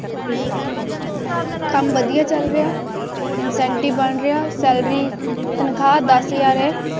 ਕੰਮ ਵਧੀਆ ਚੱਲ incentive ਬਣ ਗਿਆ salary ਦਾਹ ਹਾਜ਼ਰ ਹੈ